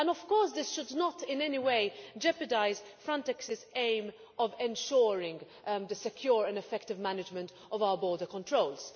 Of course, this should not in any way jeopardise Frontex's aim of ensuring the secure and effective management of our border controls.